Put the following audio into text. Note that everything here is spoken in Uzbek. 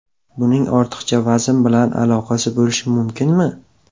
Buning ortiqcha vazn bilan aloqasi bo‘lishi mumkinmi?